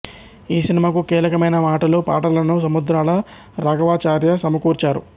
ఈ సినిమాకు కీలకమైన మాటలు పాటలను సముద్రాల రాఘవాచార్య సమకూర్చారు